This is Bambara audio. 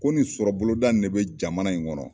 Ko nin sɔrɔboloda in de bɛ jamana in kɔnɔ.